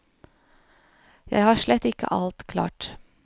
Jeg har slett ikke alt klart.